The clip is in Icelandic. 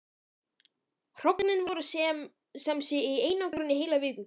Hrognin voru sem sé í einangrun í heila viku.